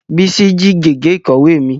Bísí jí gègé ìkọ̀wé mi